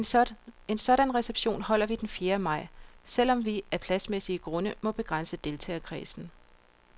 En sådan reception holder vi den fjerde maj, selv om vi af pladsmæssige grunde må begrænse deltagerkredsen.